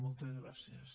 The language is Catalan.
moltes gràcies